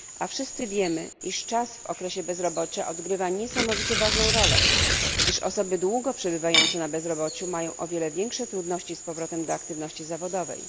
Wszyscy wiemy, iż czas w okresie bezrobocia odgrywa niesamowicie ważną rolę, gdyż osoby długo przebywające na bezrobociu mają o wiele większe trudności z powrotem do aktywności zawodowej.